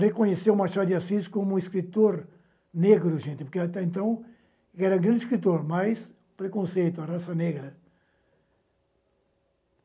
reconhecer o Machado de Assis como um escritor negro, gente, porque até então ele era um grande escritor, mas preconceito, raça negra.